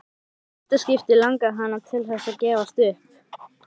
Í fyrsta skipti langaði hana til þess að gefast upp.